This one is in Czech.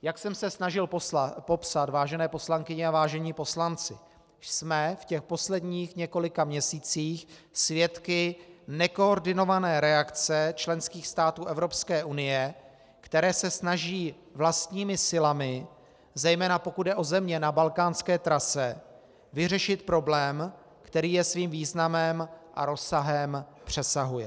Jak jsem se snažil popsat, vážené poslankyně a vážení poslanci, jsme v těch posledních několika měsících svědky nekoordinované reakce členských států Evropské unie, které se snaží vlastními silami, zejména pokud jde o země na balkánské trase, vyřešit problém, který je svým významem a rozsahem přesahuje.